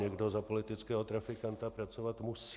Někdo za politického trafikanta pracovat musí.